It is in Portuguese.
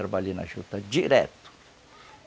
Trabalhei na juta direto.